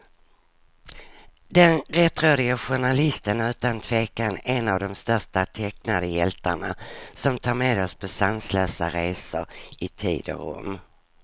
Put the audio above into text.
Den rättrådige journalisten är utan tvekan en av de största tecknade hjältarna, som tar med oss på sanslösa resor i tid och rum.